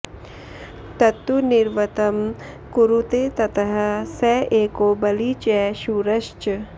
तत्तु निवृत्तं कुरूते ततः स एको बली च शूरश्च